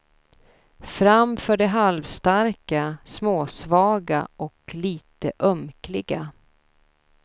Fram för de halvstarka, småsvaga och lite ömkliga.